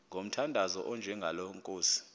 ngomthandazo onjengalo nkosi